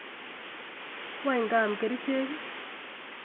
Wany kaam kerichek?